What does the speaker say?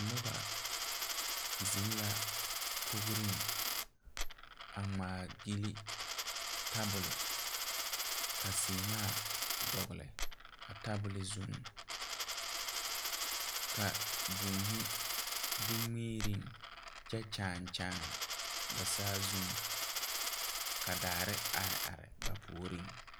Noba zeŋ la kogreŋ a ngmaa gyille tabole ka sèèmaa dɔgle a tabole zuŋ ka būūhi be ngmiireŋ kyɛ kyaane a saazuŋ ka daare are are ba puoriŋ.